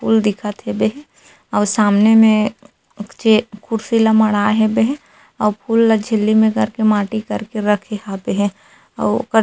फूल दिखत हेबे हे अऊ सामने में चे कुर्सी ल मड़ा हेबे हे अऊ फूल ला झिल्ली में करके माटी करके रखे हाबे हे अऊ ओकर--